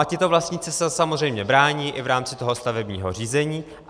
A tito vlastníci se samozřejmě brání i v rámci toho stavebního řízení.